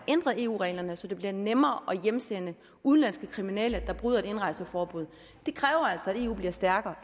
ændret eu reglerne så det bliver nemmere at hjemsende udenlandske kriminelle der bryder et indrejseforbud og det kræver altså at eu bliver stærkere